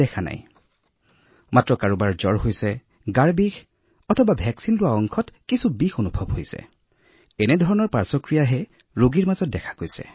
কেৱল সেইটোৱেই সকলো প্ৰতিষেধকৰ সৈতে হয় কাৰোবাৰ জ্বৰ গোটেই শৰীৰত বিষ বা বেজী দিয়া স্থানত বিষ হয় আমি প্ৰতিটো ৰোগীৰ পাৰ্শ্বক্ৰিয়াত দেখিছোঁ আমি কোনো স্থুল প্ৰভাৱ দেখা নাই আমি কোনো বিৰূপ প্ৰভাৱ দেখা নাই